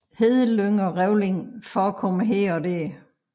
Hedelyng og revling forekommer her og der